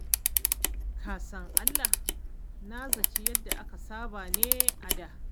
Ka san Allah na zaci yadda aka saba ne a da.